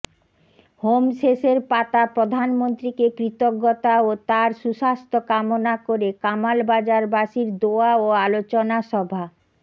home শেষের পাতা প্রধানমন্ত্রীকে কৃতজ্ঞতা ও তাঁর সুস্বাস্থ্য কামনা করে কামালবাজারবাসীর দোয়া ও আলোচনা সভা